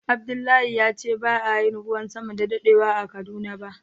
Abdullahi ya ce ba a Yi ruwan sama da dadewa a Kaduna ba.